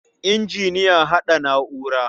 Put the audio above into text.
Injiniya ya haɗa na'ura.